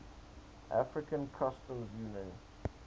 african customs union